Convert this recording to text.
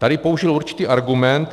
Tady použil určitý argument.